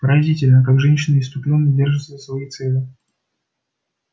поразительно как женщины исступлённо держатся за свои цели